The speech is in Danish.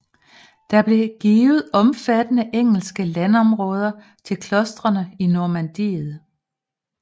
Der blev givet omfattende engelske landområder til klostrene i Normandiet